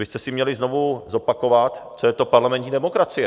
Vy byste si měli znovu zopakovat, co je to parlamentní demokracie.